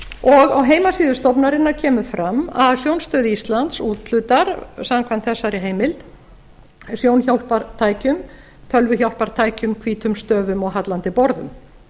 og á heimasíðu stofnunarinnar kemur fram að sjónstöð íslands úthlutar samkvæmt þessari heimild sjónhjálpartækjum tölvuhjálpartækjum hvítum stöfum og hallandi borðum